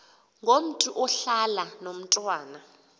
ngomntu ohlala nomntwana